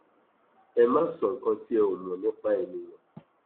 ẹ má sọ nǹkan tí ẹ ò mọ nípa èèyàn